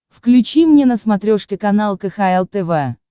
включи мне на смотрешке канал кхл тв